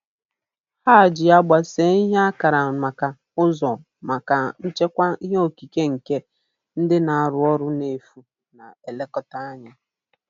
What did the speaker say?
Ha ji agba see ihe akara maka ụzọ maka nchekwa ihe okike nke ndị na-arụ ọrụ n'efu na-elekọta anya.